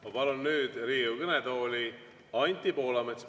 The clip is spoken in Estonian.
Ma palun nüüd Riigikogu kõnetooli Anti Poolametsa.